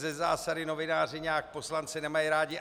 Ze zásady novináři nějak poslance nemají rádi.